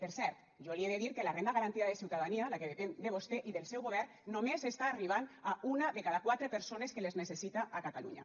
per cert jo li he de dir que la renda garantida de ciutadania la que depèn de vostè i del seu govern només està arribant a una de cada quatre persones que la necessiten a catalunya